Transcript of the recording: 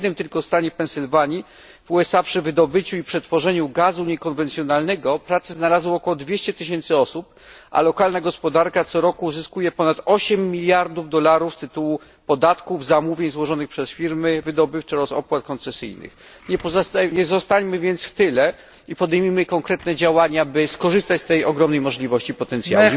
W jednym tylko stanie USA Pensylwanii przy wydobyciu i przetworzeniu niekonwencjonalnego gazu pracę znalazło około 200 tysięcy osób, a lokalna gospodarka co roku uzyskuje ponad 8 miliardów dolarów z tytułu podatków, zamówień złożonych przez firmy wydobywcze oraz opłat koncesyjnych. Nie pozostańmy więc w tyle i podejmijmy konkretne działania, by skorzystać z tej ogromnej możliwości i potencjału.